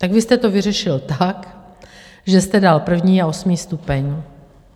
Tak vy jste to vyřešil tak, že jste dal první a osmý stupeň.